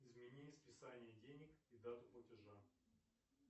имени списание денег и дату платежа